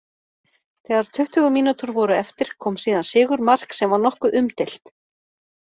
Þegar tuttugu mínútur voru eftir kom síðan sigurmark sem var nokkuð umdeilt.